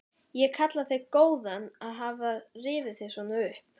Ég kalla þig góðan að hafa rifið þig svona upp.